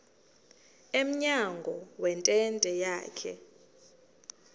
emnyango wentente yakhe